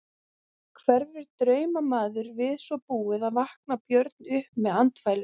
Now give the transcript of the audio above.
Hverfur draumamaður við svo búið og vaknar Björn upp með andfælum.